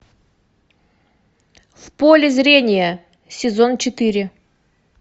в поле зрения сезон четыре